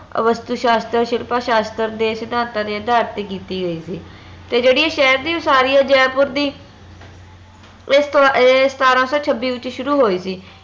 ਵਸਤੂ ਸ਼ਾਸਤ੍ਰ ਸ਼ਿਲਪਾ ਸ਼ਾਸਤ੍ਰ ਦੇ ਸਿਧਾਂਤਾਂ ਦੇ ਅਧਾਰ ਤੇ ਕੀਤੀ ਗਯੀ ਸੀ ਤੇ ਜਿਹੜੀ ਆ ਸ਼ਹਿਰ ਦੀ ਵਸਾਰੀ ਆ ਜੈਪੁਰ ਦੀ ਇਹ ਸਤਾਰਾਂ ਸੋ ਛੱਬੀ ਵਿਚ ਸ਼ੁਰੂ ਹੋਈ ਸੀ